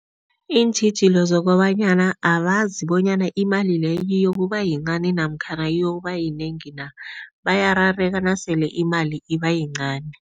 Iintjhijilo zokobanyana abazi bonyana imali leyo iyokuba yincani namkhana iyokuba yinengi na, bayarareka nasele imali ibayincani.